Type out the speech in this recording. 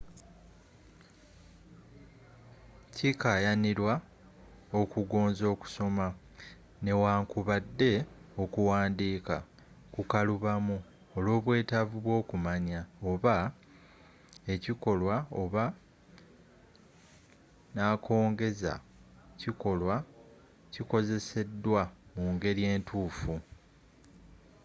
kikaayanirwa okugonza okusoma newankubadde okuwandiika kukalubamu olwobwetaavu bwookumanya oba ekikolwa oba nakongeza kikolwa kikozeseddwa mu ngeri entuufu